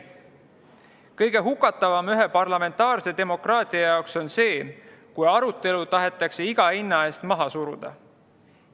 Kõige hukutavam parlamentaarse demokraatia jaoks on see, kui arutelu tahetakse iga hinna eest maha suruda.